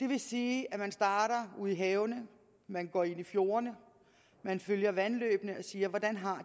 det vil sige at man starter ude i havene man går ind i fjordene og man følger vandløbene og siger hvordan har